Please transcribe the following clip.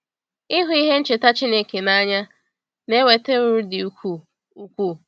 Ịhụ ihe ncheta Chineke n’anya na-eweta uru dị ukwuu. ukwuu.